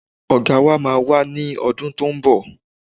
Ọ̀gá wa máa wá ní ọdún tó ń bọ̀